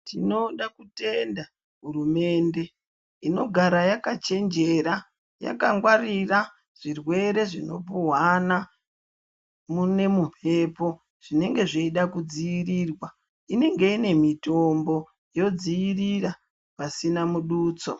Tinoda kutenda hurumende inogara yakachenjera yakangwarira zvirwere zvinopuhwana mune mumbepo zvinenge zveida kudzivirirwa inenge ine mutombo yodzivirira pasina mudutso.